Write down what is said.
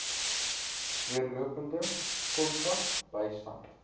deurlopende kontak bystand